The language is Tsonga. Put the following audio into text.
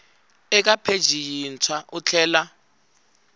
eka pheji yintshwa u tlhela